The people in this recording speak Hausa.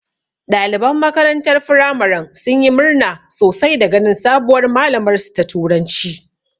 Ɗaliban makarantar firamaren sun yi murna sosai da ganin sabuwar malamar su ta turanci